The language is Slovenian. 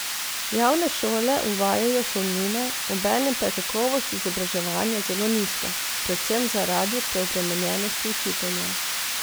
Javne šole uvajajo šolnine, obenem pa je kakovost izobraževanja zelo nizka, predvsem zaradi preobremenjenosti učiteljev.